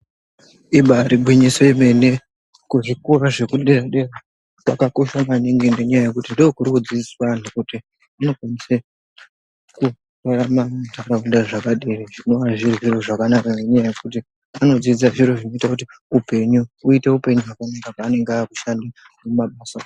Ibaari gwinyiso yemene, kuzvikora zvekudera-dera kwakakosha maningi ngenyaya yekuti ndokurikudzidziswe antu kuti vanokwanise kurarama muntaraunda zvakadini, zvinova zviri zviro zvakanaka ngenyaya yekuti vanodzidze zviro zvinoite kuti upenyu huite upenyu hwakanaka pevanenge vakushanda mumabasa umu.